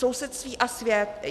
Sousedství a svět.